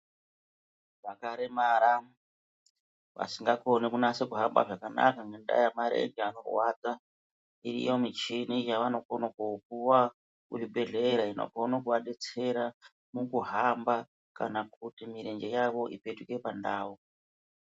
Vakaremara vasingakoni kunyasa kuhamba zvakanaka ngenda yemarenje kurwadza iriyo michini yanokona kupuwa kuzvibhedhlera inokona kuvadetsera mukuhamba kana kuti murenje yawo ipetuke pandau.